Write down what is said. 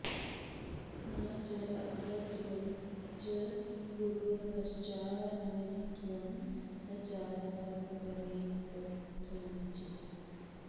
न चात्र तिर्यक्च पुरो न पश्चा न्नोर्ध्वं न चाधः प्रपरेत्कथंचित्